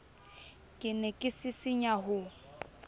ke ne ke sisinya ho